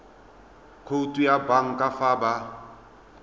khoutu ya banka fa ba